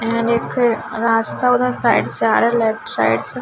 यहाँ एक रास्ता उधर साइड से आ रहा लेफ्ट साइड से --